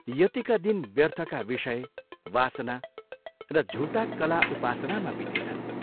यतिका दिन व्यर्थका विषय, वासना र झूटा कला उपासनामा बितेछन्।